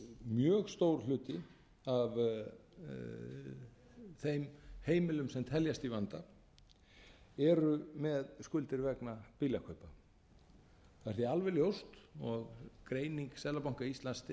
mjög stór hluti af þeim heimilum sem teljast í vanda eru með skuldir vegna bílakaupa það er því alveg ljóst og greining seðlabanka íslands styður það